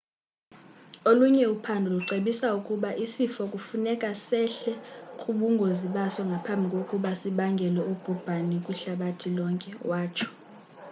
olunye uphando lucebisa ukuba isifo kufuneka sehle kubungozibaso ngaphambi kokuba sibangele ubhubhani kwihlabathi lonke watsho